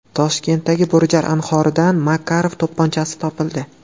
Toshkentdagi Bo‘rijar anhoridan Makarov to‘pponchasi topildi.